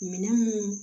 Minɛn mun